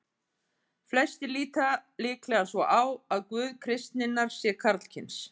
Flestir líta líklega svo á að Guð kristninnar sé karlkyns.